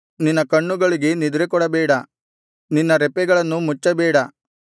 ನಿನ್ನ ಕಣ್ಣುಗಳಿಗೆ ನಿದ್ರೆಕೊಡಬೇಡ ನಿನ್ನ ರೆಪ್ಪೆಗಳನ್ನು ಮುಚ್ಚಬೇಡ